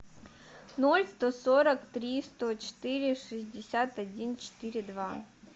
ноль сто сорок три сто четыре шестьдесят один четыре два